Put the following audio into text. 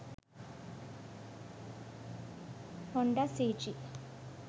honda cg